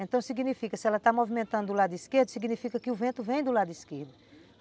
Então significa, se ela está movimentando do lado esquerdo, significa que o vento vem do lado esquerdo.